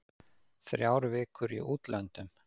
Þrjár vikur í útlöndum.